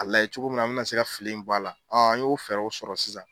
Ka lajɛ cogo min na an bɛna se ka fili ninnu bɔ a la, an y'o fɛɛrɛw sɔrɔ sisan